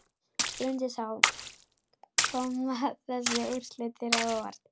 Bryndís Hólm: Koma þessi úrslit þér á óvart?